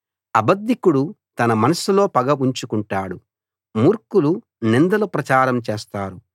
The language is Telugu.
అబద్ధికుడు తన మనసులో పగ ఉంచుకుంటాడు మూర్ఖులు నిందలు ప్రచారం చేస్తారు